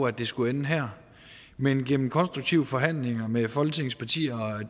at det skulle ende her men gennem konstruktive forhandlinger med folketingets partier